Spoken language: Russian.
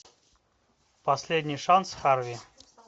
последний шанс харви